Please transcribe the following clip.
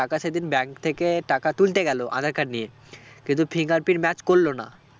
টাকা সেদিন bank থেকে টাকা তুলতে গেলো আঁধার card নিয়ে কিন্তু fingerprint match করলো না